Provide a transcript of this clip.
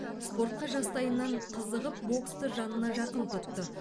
спортқа жастайынан қызығып боксты жанына жақын тұтты